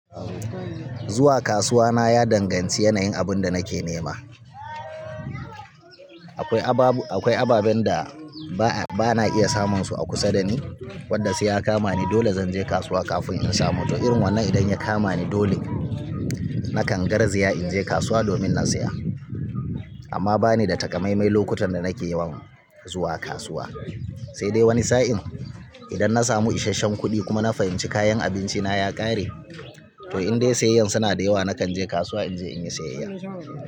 Zuwa kasuwa na ya danganci yanayin abin da nake nema. Akwai ababen da ba na iya samun su a kusa da ni wadda sai ya kamani dole zan je kasuwa kafin in samu. To irin wannan idan ya kamani dole nakan garzaya in je kasuwa domin na siya. Amma ba ni da takamaimai lokutan da nake yawan zuwa kasuwa, sai dai wani sa'in idan na samu isasshen kuɗi kuma na fahimci kayan abinci na ya ƙare to inda sai ayan suna da yawa nakan je kasuwa in je in yi sayayya.